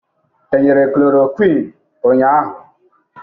E nyere chloroquine ụnyaahụ?